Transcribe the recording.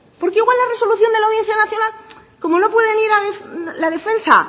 porque igual la resolución de la audiencia nacional como no pueden ir la defensa